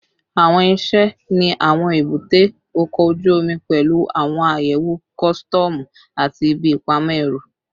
Awọn iṣẹ ni awọn ebute oko oju omi pẹlu awọn ayewo kọsitọmu ati ibi ipamọ ẹru